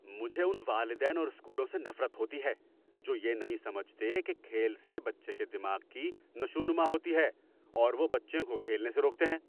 مجھے ان والدین اور اسکولوں سے نفرت ہوتی ہے جو یہ نہیں سمجھتے کہ کھیل سے بچے کے دماغ کی نشوونما ہوتی ہے اور وہ بچوں کو کھیلنے سے روکتے ہیں۔